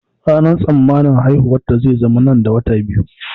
Ranar tsammanin haihuwarta zai zama nan da wata biyu.